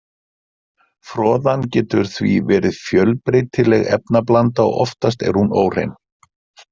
Froðan getur því verið fjölbreytileg efnablanda og oftast er hún óhrein.